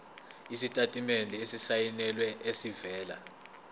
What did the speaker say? isitatimende esisayinelwe esivela